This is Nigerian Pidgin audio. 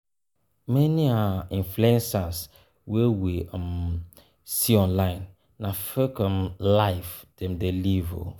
Many um influencers wey we um see online na fake um life dem de live